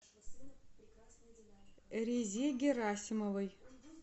резе герасимовой